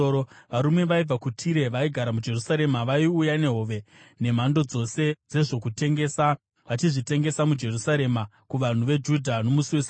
Varume vaibva kuTire vaigara muJerusarema vaiuya nehove nemhando dzose dzezvokutengesa vachizvitengesa muJerusarema kuvanhu veJudha nomusi weSabata.